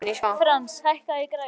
Frans, hækkaðu í græjunum.